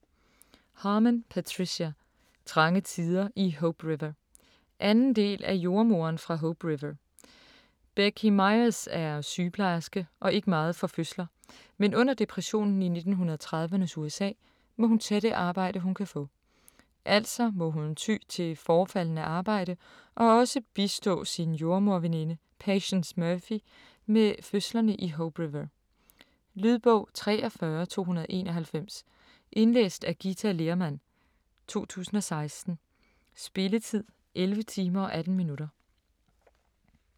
Harman, Patricia: Trange tider i Hope River 2. del af Jordemoderen fra Hope River. Becky Myers er sygeplejerske og ikke meget for fødsler, men under depressionen i 1930'ernes USA må hun tage det arbejde, hun kan få. Altså må hun ty til forefaldende arbejde og også bistå sin jordemoderveninde Patience Murphy med fødslerne i Hope River. Lydbog 43291 Indlæst af Githa Lehrmann, 2016. Spilletid: 11 timer, 18 minutter.